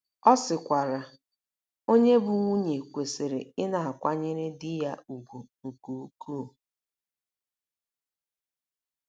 Ọ sịkwara: “ Onye bụ́ nwunye kwesịrị ịdị na - akwanyere di ya ùgwù nke ukwuu. ”